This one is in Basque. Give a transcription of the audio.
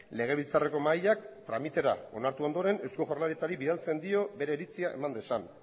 legebiltzarreko mahaiak tramitera onartu ondoren eusko jaurlaritzari bidaltzen dio bere iritzia eman dezan